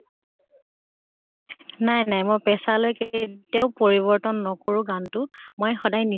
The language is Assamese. নাই নাই। মই পেচালৈ কেতিয়াও পৰিৱৰ্তন নকৰো গান তো। মই সদায়